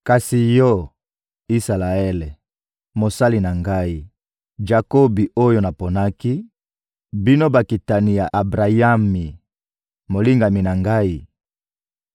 «Kasi yo, Isalaele, mosali na Ngai, Jakobi oyo naponaki, bino bakitani ya Abrayami, molingami na Ngai,